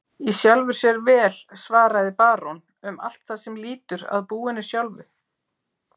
Í sjálfu sér vel, svaraði barón, um allt það er lýtur að búinu sjálfu.